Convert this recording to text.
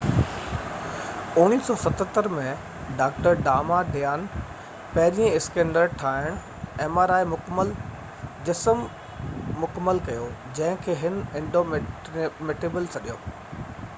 1977 ۾، doctor Damadian پهريئن ”مڪمل-جسم mri scanner ٺاهڻ مڪمل ڪيو، جنهن کي هن ”انڊومٽيبل سڏيو